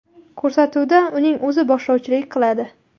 Ko‘rsatuvda uning o‘zi boshlovchilik qiladi.